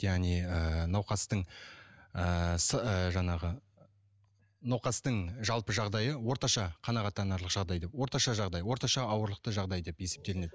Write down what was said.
яғни ыыы науқастың ыыы жаңағы науқастың жалпы жағдайы орташа қанағаттанарлық жағдай деп орташа жағдай орташа ауырлықты жағдай деп есептелінеді